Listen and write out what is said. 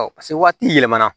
Ɔ paseke waati yɛlɛmana